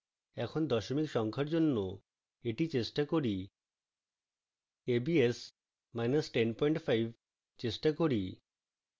এখন দশমিক সংখ্যার জন্য এটি চেষ্টা করি